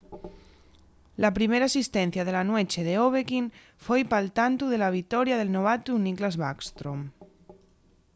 la primera asistencia de la nueche d'ovechkin foi pal tantu de la victoria del novatu nicklas backstrom